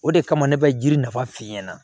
O de kama ne bɛ jiri nafa f'i ɲɛna